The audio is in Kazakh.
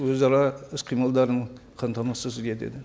өзара іс қимылдарын қамтамасыз етеді